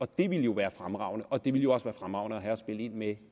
det ville jo være fremragende og det ville også være fremragende at have at spille ind med